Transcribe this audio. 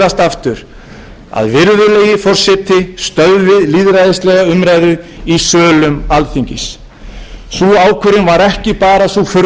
aftur að virðulegi forseti stöðvi lýðræðislega umræðu í sölum alþingis sú ákvörðun var ekki bara sú furðulegasta ákvörðun sem tekin hefur verið af forseta alþingis í sögu